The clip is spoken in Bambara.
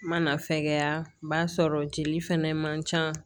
Mana fɛgɛya b'a sɔrɔ jeli fɛnɛ man ca